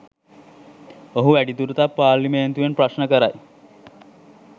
ඔහු වැඩිදුරටත් පාර්ලිමේන්තුවෙන් ප්‍රශ්න කරයි